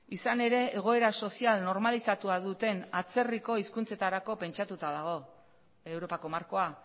izan ere egoera sozial normalizatua duten atzerriko hizkuntzetarako pentsatuta dago europako markoa